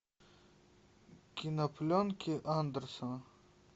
кинопленки андерсона